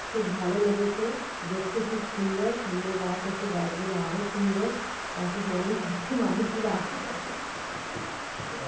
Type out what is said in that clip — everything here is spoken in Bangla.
খুব ভালো লেগেছে দেখতে খুব সুন্দর সামনে গাছ আছে গাছ গুলো আরো সুন্দর পাশে মালিক আছে মালিক গুলো আরো --